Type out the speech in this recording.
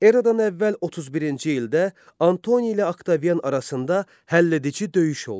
Eradan əvvəl 31-ci ildə Antoni ilə Oktavian arasında həlledici döyüş oldu.